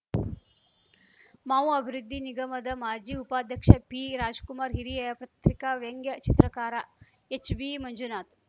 ಮಾವು ಅಭಿವೃದ್ಧಿ ನಿಗಮದ ಮಾಜಿ ಉಪಾಧ್ಯಕ್ಷ ಪಿರಾಜ್ ಕುಮಾರ್ ಹಿರಿಯ ಪತ್ರಿಕಾ ವ್ಯಂಗ್ಯ ಚಿತ್ರಕಾರ ಎಚ್‌ಬಿಮಂಜುನಾಥ್